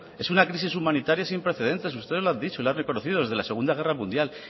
es una crisis humanitaria sin precedentes ustedes lo han dicho lo han reconocido desde la segunda guerra mundial